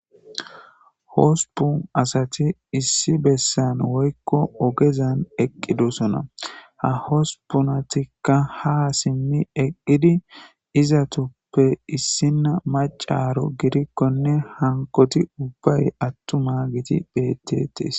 hosupun asati issi bessan woykko ogezan eqqidosona ha hosupunatikka ha simmi eqqidi izatupppe issinna macaro gidikkonne hankoti ubbay attuma giti betetes